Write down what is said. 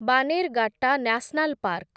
Bannerghatta national park